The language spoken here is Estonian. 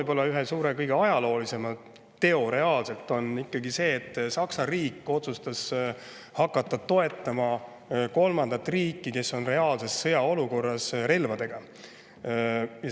Ma toon ühe suure, kõige ajaloolisema teo: see, et Saksa riik otsustas hakata toetama relvadega kolmandat riiki, kes on reaalses sõjaolukorras.